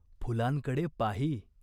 फुलांकडे पाही.